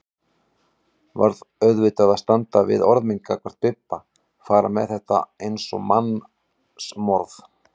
Varð auðvitað að standa við orð mín gagnvart Bibba, fara með þetta eins og mannsmorð.